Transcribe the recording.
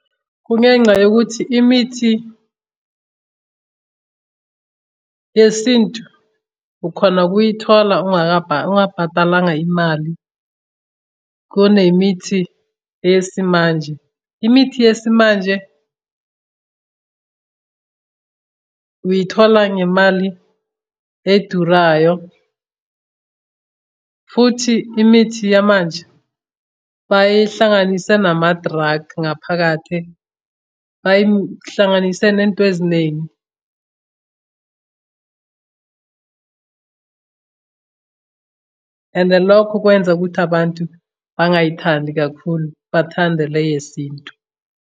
Kungenxa yokuthi imithi yesintu ukhona ukuyithola ungabhatalanga imali kunemithi eyesimanje. Imithi yesimanje uyithola ngemali edurayo, futhi imithi yamanje bayihlanganise nama-drug ngaphakathi, bayihlanganise nento eziningi. Ende lokho kwenza ukuthi abantu bengayithandi kakhulu bathande le yesintu.